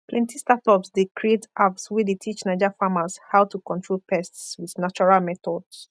plenty startups dey create apps wey dey teach naija farmers how to control pests with natural methods